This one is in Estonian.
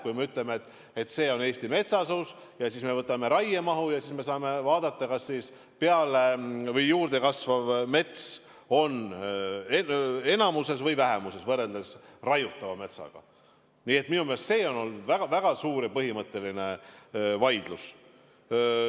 Kui me ütleme, et see on Eesti metsasus, ja siis võtame raiemahu ja vaatame, kas juurde kasvav mets on enamuses või vähemuses võrreldes raiutava metsaga – minu meelest see on olnud väga suur ja põhimõtteline vaidlus.